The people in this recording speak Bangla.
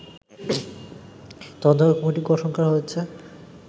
তদন্ত কমিটি গঠন করা হয়েছে